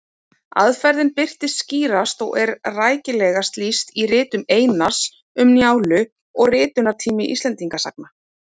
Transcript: Aðferðin birtist skýrast og er rækilegast lýst í ritum Einars, Um Njálu og Ritunartími Íslendingasagna.